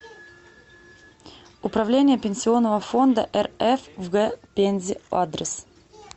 управление пенсионного фонда рф в г пензе адрес